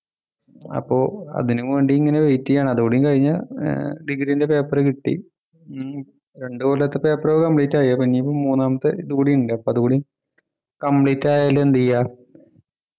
അപ്പൊ അതിനു വേണ്ടി ഇങ്ങനെ wait ചെയ്യുകയാണ് അതുകൂടി കഴിഞ്ഞാ ഏർ degree ൻ്റെ paper കിട്ടി ഉം രണ്ടു കൊല്ലത്തെ paper complete ആയി ഇനി മൂന്നാമത്തെ ഇത് കൂടിയുണ്ട് അതുകൂടി complete ആയാൽ എന്ത് ചെയ്യാ